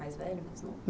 Mais velho ou mais novo?